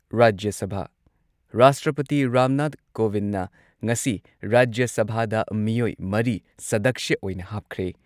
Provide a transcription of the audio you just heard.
ꯔꯥꯖ꯭ꯌ ꯁꯚꯥꯥ ꯔꯥꯁꯇ꯭ꯔꯄꯇꯤ ꯔꯥꯝꯅꯥꯊ ꯀꯣꯕꯤꯟꯗꯅ ꯉꯁꯤ ꯔꯥꯖ꯭ꯌ ꯁꯚꯥꯗ ꯃꯤꯑꯣꯏ ꯃꯔꯤ ꯁꯗꯛꯁ꯭ꯌ ꯑꯣꯏꯅ ꯍꯥꯞꯈ꯭ꯔꯦ